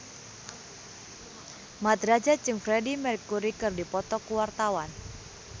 Mat Drajat jeung Freedie Mercury keur dipoto ku wartawan